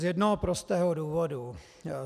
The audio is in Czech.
Z jednoho prostého důvodu.